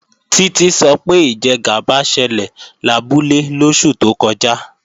Títí sọ pé ìjẹgàba ṣẹlẹ̀ labúlé lóṣù tó kọjá